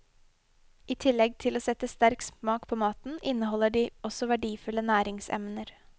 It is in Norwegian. I tillegg til å sette sterk smak på maten, inneholder de også verdifulle næringsemner.